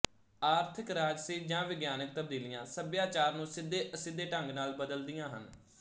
ਆਰਥਕ ਰਾਜਸੀ ਜਾਂ ਵਿਗਿਆਨਿਕ ਤਬਦੀਲੀਆਂ ਸੱਭਿਆਚਾਰ ਨੂੰ ਸਿੱਧੇਅਸਿੱਧੇ ਢੰਗ ਨਾਲ ਬਦਲਦੀਆਂ ਹਨ